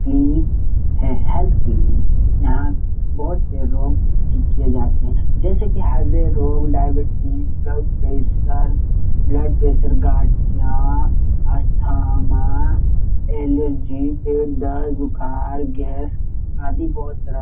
clinic हैं health clinic यहाँ बहोत से रोग ठीक किये जाते हैं जैसे की हृदय रोग diabetes blood pressure blood pressure गाढ़िया अस्थमा एलर्जी पेट दर्द बुखार गैस आदि बहोत तरह --